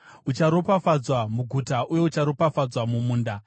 Ucharopafadzwa muguta uye ucharopafadzwa mumunda.